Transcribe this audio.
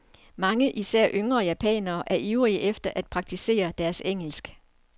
Mange, især yngre japanere, er ivrige efter at praktisere deres engelsk.